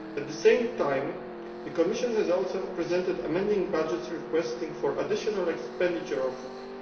At the same time, the Commission has also presented amending budgets requesting additional expenditure of EUR